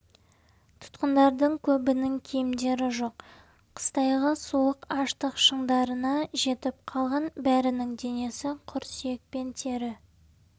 тұтқындардың көбінің киімдері жоқ қыстайғы суық аштық шыңдарына жетіп қалған бәрінің денесі құр сүйек пен тері